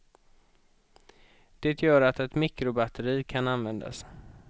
Det gör att ett mikrobatteri kan användas.